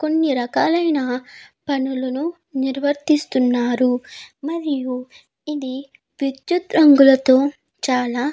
కొన్ని రకాలైన పనులను నిర్వర్తిస్తున్నారు మరియు ఇది విద్యుత్ రంగులతో చాలా --